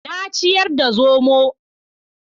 Na ciyar da zomo